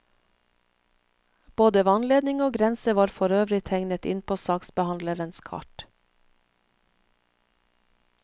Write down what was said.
Både vannledning og grense var forøvrig tegnet inn på saksbehandlerens kart.